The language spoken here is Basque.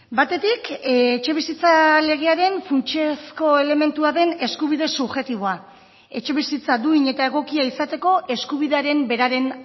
batetik etxebizitza legearen funtsezko elementua den eskubide subjektiboa etxebizitza duin eta egokia izateko eskubidearen beraren